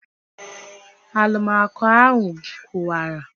Alụmaco ahụ kụwara